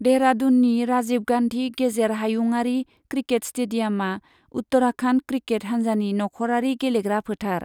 देहरादूननि राजीव गान्धी गेजेर हायुंआरि क्रिकेट स्टेडियामआ उत्तराखन्ड क्रिकेट हान्जानि नखरारि गेलेग्रा फोथार।